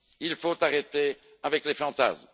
Il faut arrêter avec les fantasmes.